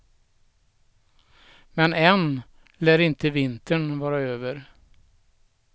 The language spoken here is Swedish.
Men än lär inte vintern vara över.